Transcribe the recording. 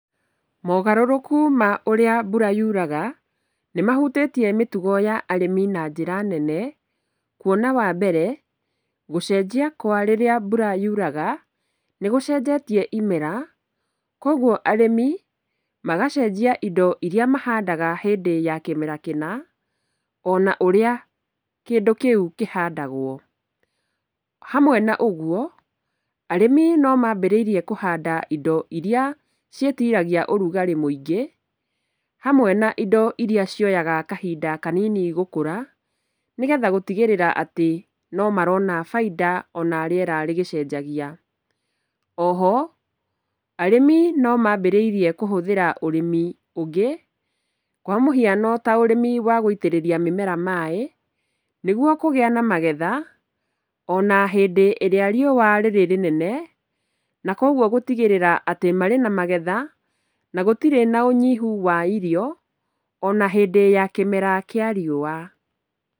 Mogarũrũku ma ũrĩa mbura yuraga, nĩ mahutĩtie mĩtugo ya arĩmi na njĩra nene, kuona wambere, gũcenjia kwa rĩrĩa mbura yuraga, nĩ gũcenjetie imera, Koguo arĩmi magacenjia indo iria mahandaga hĩndĩ ya kĩmera kĩna, ona ũrĩa kĩndũ kĩu kĩhandagwo. Hamwe na ũguo, arĩmi nomambĩrĩirie kũhanda indo iria ciĩtiragia ũrugarĩ mũingĩ, hamwe na indo iria cioyaga kahinda kanini gũkũra, nĩgetha gũtigĩrĩra atĩ, nomarona bainda ona rĩera rĩgĩcenjagia. Oho, arĩmi no mambĩrĩirie kũhũthĩra ũrĩmi ũngĩ, kwa mũhiano taũrĩmi wa gũitĩrĩria mĩmera maaĩ, nĩguo kũgĩa na magetha, ona hĩndĩ ĩrĩa riũwa rĩrĩnene , nakoguo gũtigĩrĩra marĩ na magetha, na gũtirĩ na ũnyihu wa irio, ona hĩndĩ ya kĩmera kĩa riũwa.